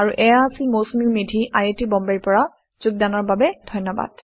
আৰু এইয়া আছিল Mousumi Medhi I I T বম্বেৰ পৰা যোগদানৰ বাবে ধন্যবাদ